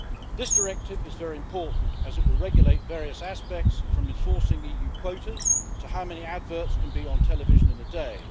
This directive is very important as it will regulate various aspects, from enforcing EU quotas to how many adverts can be on television in a day.